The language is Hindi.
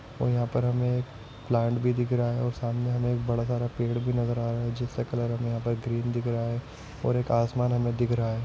और यहाँ पर हमे प्लांट भी दिख रहा है और सामने हमे बड़ा सारा पेड़ भी नजर आ रहा है जिसका कलर हमे यहाँ पर ग्रीन दिख रहा है और एक आसमान हमे दिख रहा है।